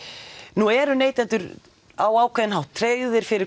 nú eru neytendur á einhvern hátt tryggðir fyrir